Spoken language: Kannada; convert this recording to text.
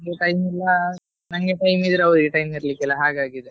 ನನ್ಗೆ time ಇಲ್ಲ ನಂಗೆ time ಇದ್ರೆ ಅವ್ರಿಗೆ time ಇರ್ಲಿಕ್ಕೆ ಇಲ್ಲ ಹಾಗಾಗಿದೆ.